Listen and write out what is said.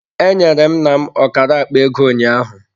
Enyere m nna m ọkara akpa ego ụnyaahụ.